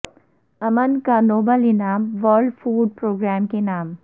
امن کا نوبل انعام ورلڈ فوڈ پروگرام کے نام